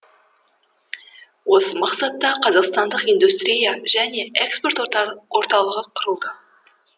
осы мақсатта қазақстандық индустрия және экспорт орталығы құрылды